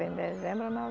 em dezembro